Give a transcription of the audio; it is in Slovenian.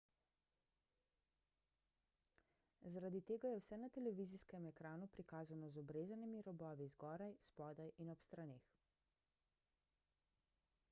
zaradi tega je vse na televizijskem ekranu prikazano z obrezanimi robovi zgoraj spodaj in ob straneh